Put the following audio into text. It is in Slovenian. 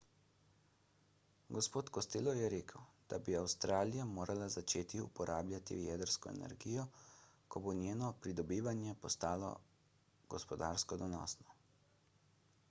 g. costello je rekel da bi avstralija morala začeti uporabljati jedrsko energijo ko bo njeno pridobivanje postalo gospodarsko donosno